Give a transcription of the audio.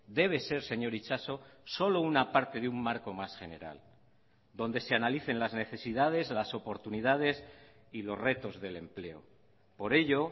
debe ser señor itxaso solo una parte de un marco más general donde se analicen las necesidades las oportunidades y los retos del empleo por ello